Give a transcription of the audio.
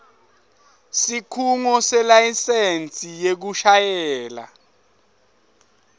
sikhungo selayisensi yekushayela